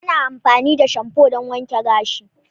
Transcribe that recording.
Ana amfani da shamfu don wanke gashi.